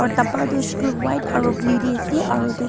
aru dhaba tu huisheykuiletu white aru blue teh ase aru itu